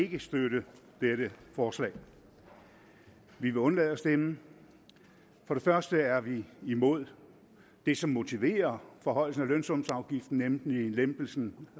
ikke støtte dette forslag vi vil undlade at stemme for det første er vi imod det som motiverer forhøjelsen af lønsumsafgiften nemlig lempelsen